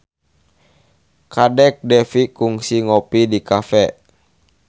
Kadek Devi kungsi ngopi di cafe